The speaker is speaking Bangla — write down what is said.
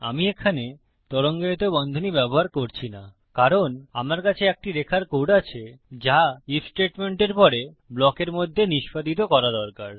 আমি এখানে তরঙ্গায়িত বন্ধনী ব্যবহার করছি না কারণ আমার কাছে একটি রেখার কোড আছে যা আইএফ স্টেটমেন্টের পরে ব্লকের মধ্যে নিস্পাদিত করা দরকার